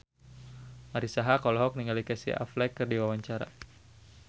Marisa Haque olohok ningali Casey Affleck keur diwawancara